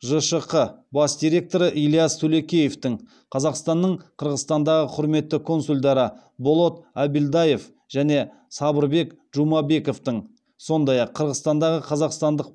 жшқ бас директоры ильяс тулекеевтің қазақстанның қырғызстандағы құрметті консульдары болот абильдаев және сабырбек джумабековтің сондай ақ қырғызстандағы қазақстандық